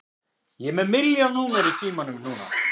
Ég er með milljón númer í símanum núna.